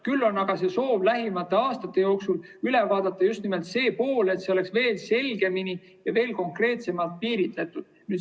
Küll on aga soov lähimate aastate jooksul üle vaadata just nimelt see pool, et see oleks veel selgemini ja veel konkreetsemalt piiritletud.